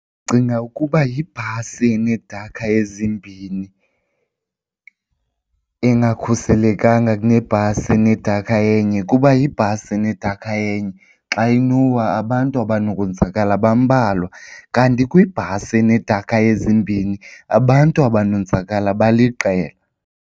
Ndicinga ukuba yibhasi enedekha ezimbini engakhuselekanga kunebhasi enedekha enye kuba yibhasi enedakha enye xa inowa abantu abanokwenzakala bambalwa kanti kwibhasi enedekha ezimbini abantu abanonzakala baliqela.